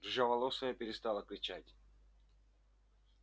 рыжеволосая перестала кричать